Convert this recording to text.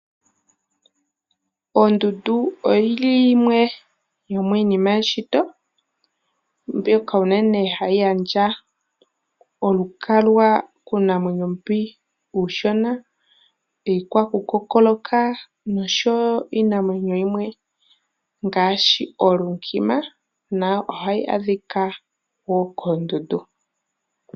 Ondundu oyi li yimwe yomiinima yomeshito mbyoka uunene hayi gandja olukalwa kuunamwenyo mboka uushona, iikwaku kokoloka noshowo iinamwenyo yimwe ngaashi oolunkima na ohayi adhika koondundu.